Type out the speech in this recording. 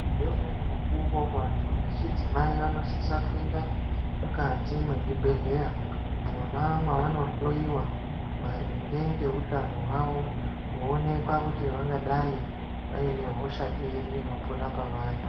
Ngeumweni mukuwo vantu vechidzimai vanosisa kuenda mukati mwezvibhehleya mwona mwavanohloyiwa maringe ngeutano hwavo kuonekwa kuti vangadai vaine hosha iri inopona pavari.